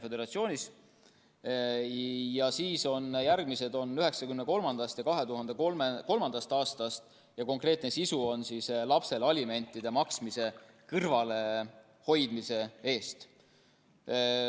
Järgmised teod on 1993. ja 2003. aastast ning nende sisu on lapsele alimentide maksmisest kõrvalehoidmine.